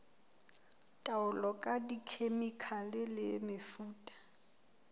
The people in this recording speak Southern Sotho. taolo ka dikhemikhale le mefuta